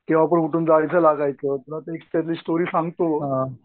केंव्हा पण उठून जायचं लागायचं पुन्हा ते त्यातली स्टोरी सांगतो.